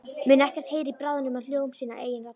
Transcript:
Mun ekkert heyra í bráð nema hljóm sinnar eigin raddar.